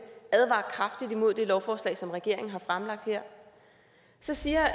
advarer kraftigt imod det lovforslag som regeringen har fremlagt her så siger